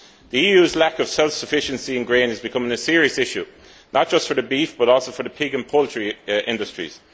The EU's lack of self sufficiency in grain is becoming a serious issue, not just for the beef but also for the pig and poultry industries.